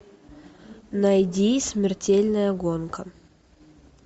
найди смертельная гонка